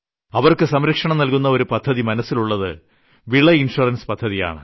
അവർക്ക് സംരക്ഷണം നൽകുന്ന ഒരു പദ്ധതി മനസ്സിലുള്ളത് വിള ഇൻഷുറൻസ് പദ്ധതിയാണ്